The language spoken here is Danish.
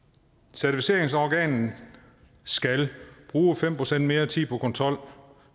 certificeringsorganet skal bruge fem procent mere tid på kontrol